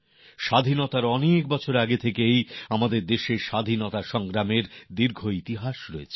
স্বাধীনতার আগে বহু বছর যাবৎ আমাদের দেশে স্বাধীনতার লড়াইয়ের এক দীর্ঘ ইতিহাস রয়েছে